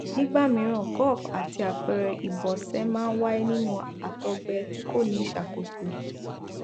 nígbà mìíràn gove àti àpẹẹrẹ ìbọsẹ máa ń wáyé nínú àtọgbẹ tí kò ní ìṣàkóso